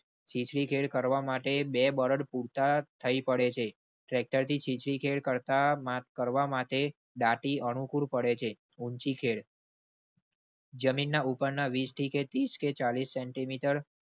ચીચી કરવા માટે બે બળદ પૂરતા થઇ પડે છે. tractor થી ચીચી ખેડ કરતામાં કરવા માટે દાટી અનુકૂળ પડે છે ઉંચી ખેળ. જમીન ના ઉપર ના વીસ થી તીસ કે ચાલીસ centimeter